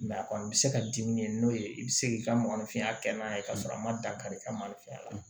a kɔni bɛ se ka dimi n'o ye i bɛ se k'i ka mɔgɔninfinya kɛ n'a ye k'a sɔrɔ a ma dankari kɛ malifɛn na